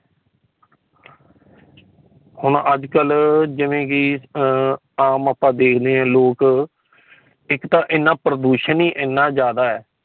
ਹੁਣ ਅੱਜ ਕਲ ਜਿਵੇਂ ਕਿ ਆਮ ਆਪਾ ਦੇਖਦੇ ਹਾਂ ਲੋਕ ਇੱਕ ਤਾ ਇਨ੍ਹਾਂ ਪ੍ਰਦੂਸ਼ਣ ਹੀ ਇਨ੍ਹਾਂ ਜਾਂਦਾ ਹੈ